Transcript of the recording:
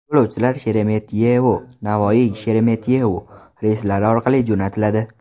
Yo‘lovchilar SheremetyevoNavoiySheremetyevo reyslari orqali jo‘natiladi.